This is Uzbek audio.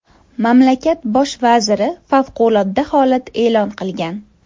Mamlakat bosh vaziri favqulodda holat e’lon qilgan.